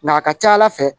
Nka a ka ca ala fɛ